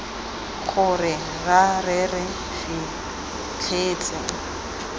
gore ra re re fitlhetse